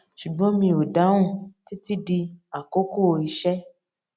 ṣùgbọn mi ò dáhùn títí di àkókò iṣé